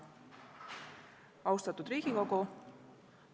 Austatud Riigikogu!